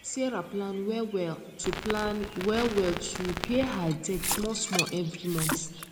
sarah plan wellwell to plan wellwell to pay her debt smallsmall every month